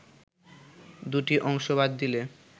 দুটি অংশ বাদ দিলে